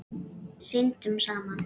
Syndum saman.